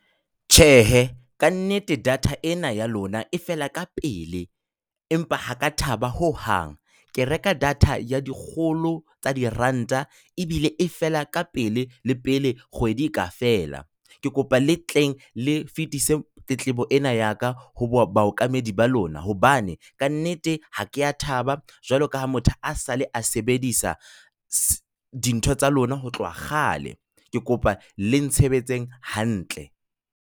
Tjhehe, ka nnete, data ena ya lona e fela ka pele, empa ha ka thaba hohang! Ke reka data ya dikgolo tsa diranta ebile e fela ka pele le pele kgwedi e ka fela. Ke kopa le tleng le fetise tletlebo ena ya ka ho baokamedi ba lona, hobane kannete ha kea thaba, jwalo ka ha motho a sale a sebedisa dintho tsa lona ho tloha kgale. Ke kopa le ntshebetseng hantle.